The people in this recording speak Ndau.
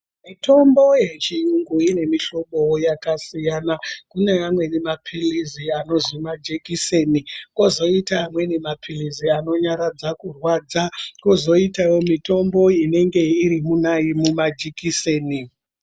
Mitombo ye chiyungu ine mi hlobo yaka siyana kune amweni mapilizi anozi majekiseni kozoita amweni ma pilizi ano nyaradza kurwadza kozoitawo mitombo inenge iri muma jekiseni.